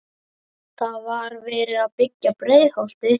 Þá var verið að byggja Breiðholtið.